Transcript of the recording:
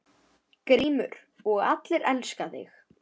GRÍMUR: Og allir elska þig.